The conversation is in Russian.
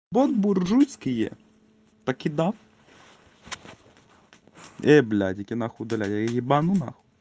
бон буржуйские покидав блядь иди нахуй удаляйь я ебану нахуй